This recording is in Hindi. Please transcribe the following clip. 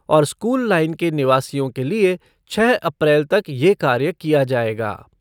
और स्कूल लाइन के निवासियों के लिए छः अप्रैल तक ये कार्य किया जाएगा।